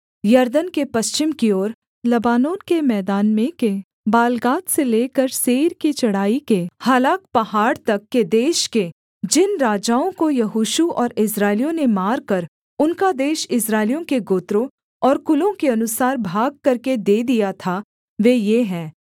यरदन के पश्चिम की ओर लबानोन के मैदान में के बालगाद से लेकर सेईर की चढ़ाई के हालाक पहाड़ तक के देश के जिन राजाओं को यहोशू और इस्राएलियों ने मारकर उनका देश इस्राएलियों के गोत्रों और कुलों के अनुसार भाग करके दे दिया था वे ये हैं